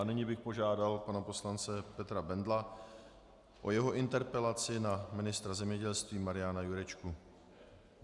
A nyní bych požádal pana poslance Petra Bendla o jeho interpelaci na ministra zemědělství Mariana Jurečku.